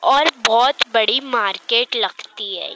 और बहुत बड़ी मार्केट लगती है।